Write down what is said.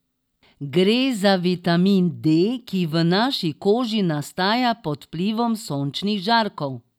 Gre za vitamin D, ki v naši koži nastaja pod vplivom sončnih žarkov.